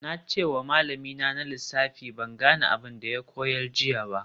Na ce wa malamina na lissafi ban gane abin da ya koyar jiya ba